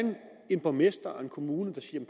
en borgmester og en kommune der siger